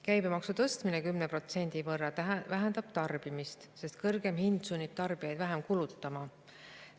Käibemaksu tõstmine 10% võrra vähendab tarbimist, sest kõrgem hind sunnib tarbijaid vähem kulutama.